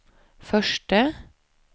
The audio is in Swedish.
förste